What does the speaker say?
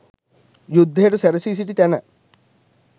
යුද්ධයට සැරැසී සිටි තැන